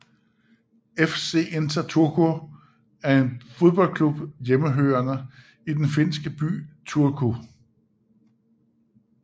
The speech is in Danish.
FC Inter Turku er en fodboldklub hjemmehørende i den finske by Turku